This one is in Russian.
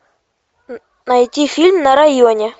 найти фильм на районе